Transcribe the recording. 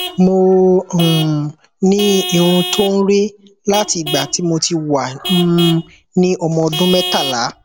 mo um ní irun tó ń re láti ìgbà tí mo ti wà um ní ọmọ ọdún mẹtàlá